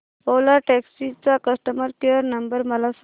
ओला taxi चा customer care number मला सांग